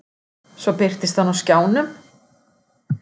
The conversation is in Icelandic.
Svo birtist hann á skjánum.